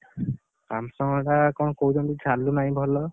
Samsung ହେଲା କଣ କହୁଛନ୍ତି ଚାଲୁ ନାହିଁ ଭଲ?